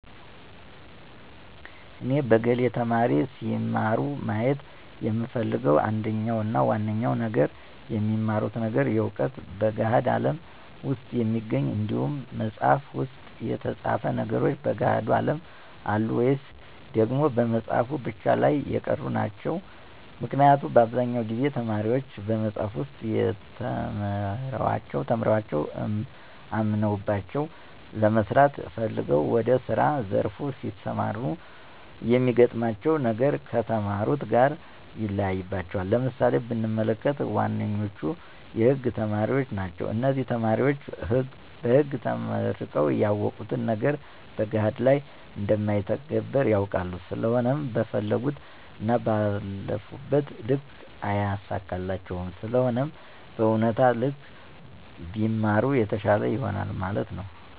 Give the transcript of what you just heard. እኔ በግሌ ተማሪዎች ሲማሩ ማየት የምፈልገው አንደኛው እና ዋነኛው ነገር የሚማሩት ነገር የእውነት በገሀድ አለም ውስጥ የሚገኝ እንዲሆን መፅሃፍ ውስጥ የተፃፉ ነገሮች በገሀዱ አለም አሉ ወይስ ደግሞ በመፅሃፉ ብቻ ላይ የቀሩ ናቸው? ምክንያቱም በአብዛኛው ጊዜ ተማሪዎች በመፅሐፍ ውስጥ ተምረዋቸው አምነውባቸው ለመስራት ፈልገው ወደ ስራ ዘርፍ ሲሰማሩ የሚገጥማቸው ነገር ከተማሩት ጋር ይለያይባቸዋል። ለምሳሌ ብንመለከት ዋነኞቹ የህግ ተማሪዎች ናቸው እነዚህ ተማሪዎች በህግ ተምረው ያወቁት ነገር በገሀድ ላይ እንደማይተገበር ያውቃሉ ስለሆነም በፈለጉት እና ባለፉበት ልክ አይሳካላቸውም ስለሆነም በእውነታው ልክ ቢማሩ የተሻለ ይሆናል ማለት ነው